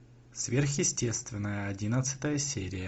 сверхъестественное одиннадцатая серия